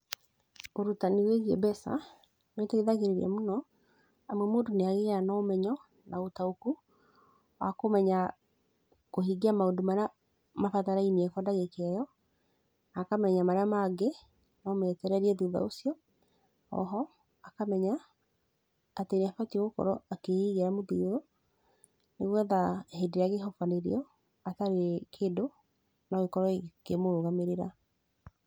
Ũrutani wĩgiĩ mbeca nĩ ũteithagĩrĩria mũno amu mũndũ nĩ agĩaga na ũmenyo na ũtaũku, wa kũmenya kũhingia maũndũ marĩa mabatarainie kwa ndagĩka ĩo, na akamenya marĩa mangĩ no metererie thutha ũcio. Oho, akamenya atĩ nĩ abatiĩ gũkorwo akĩigĩra mũthithũ nĩ getha hĩndĩ ĩrĩa angĩhobanĩrio atarĩ kĩndũ no ikorwo ikĩmũrũgamĩrĩra.